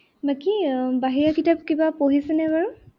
বাকি এৰ বাহিৰা কিতাপ কিবা পঢ়িছেনে বাৰু?